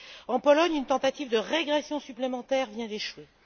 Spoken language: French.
En Pologne, une tentative de régression supplémentaire vient d'échouer.